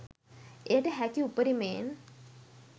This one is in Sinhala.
එයට හැකි උපරිමයෙන්